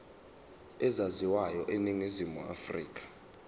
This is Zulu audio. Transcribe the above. ezaziwayo eningizimu afrika